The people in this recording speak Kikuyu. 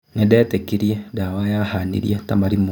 Nĩ ndetĩkirie ndawa yahanirie ta marimu.